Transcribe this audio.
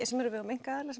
sem eru á vegum einkaaðila